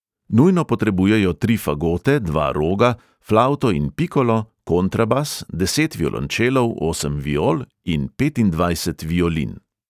Nujno potrebujejo tri fagote, dva roga, flavto in pikolo, kontrabas, deset violončelov, osem viol in petindvajset violin.